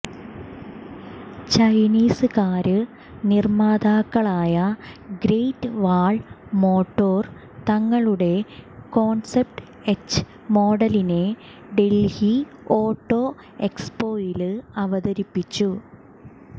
Chinese car നിര്മ്മാതാക്കളായ Great Wall Motor തങ്ങളുടെ concept H മോഡലിനെ ഡല്ഹി ഓട്ടോ എക്സ്പോയില് അവതരിപ്പിച്ചു